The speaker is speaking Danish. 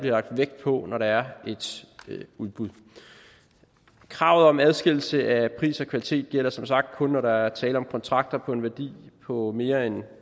lagt vægt på når der er et udbud kravet om adskillelse af pris og kvalitet gælder som sagt kun når der er tale om kontrakter på en værdi på mere end